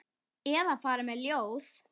Eða fara með ljóð.